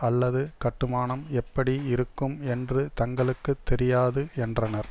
அல்லது கட்டுமானம் எப்படி இருக்கும் என்று தங்களுக்கு தெரியாது என்றனர்